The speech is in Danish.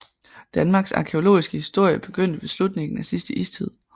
Danmarks arkæologiske historie begyndte ved slutningen af sidste istid